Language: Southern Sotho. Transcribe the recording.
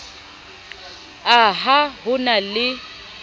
a ha ho na le